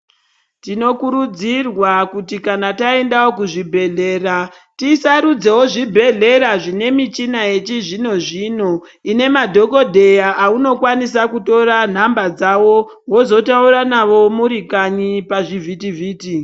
Tinokurudzirwa kuti kana taendavo kuzvibhehlera tisarudzevo zvibhehlera zvine michina yechizvino zvino ine madhokodheya aunokwanisa kutora nhamba dzavo vozotaura navo murikanyi pazvivhiti vhiti.